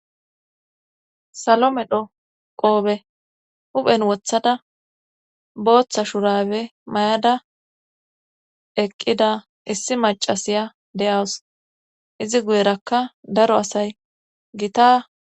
Salomedho qoobe huphen wothada booththa shurabe mayada eqqida issi macasiya de7awus izi guyerakka daro asay gita.